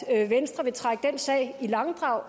at venstre vil trække den sag i langdrag